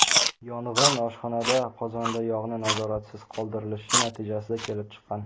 Yong‘in oshxonada qozonda yog‘ni nazoratsiz qoldirilishi natijasida kelib chiqqan.